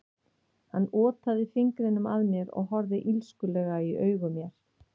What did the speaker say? Hann otaði fingrinum að mér og horfði illskulega í augu mér.